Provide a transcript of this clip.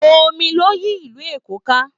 Omi ló yí ìlú Èkó ká